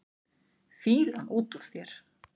Fýlan út úr þér!